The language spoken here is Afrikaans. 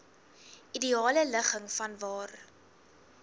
ideale ligging vanwaar